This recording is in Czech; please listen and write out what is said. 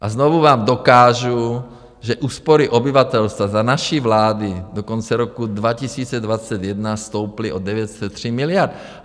A znovu vám dokážu, že úspory obyvatelstva za naší vlády do konce roku 2021 stouply o 903 miliard.